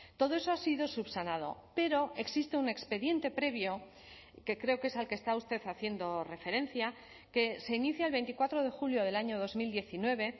todo eso ha sido subsanado pero existe un expediente previo que creo que es al que está usted haciendo referencia que se inicia el veinticuatro de julio del año dos mil diecinueve